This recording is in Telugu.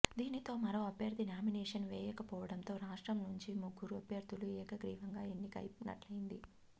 దీనితో మరో అభ్యర్థి నామినేషన్ వేయకపోవడంతో రాష్ట్రం నుంచి ముగ్గురు అభ్యర్ధులు ఏకగ్రీవంగా ఎన్నికయినట్లయింది